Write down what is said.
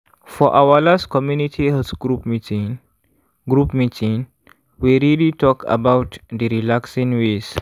for our last community health group meeting group meeting we really talk about d relaxing ways.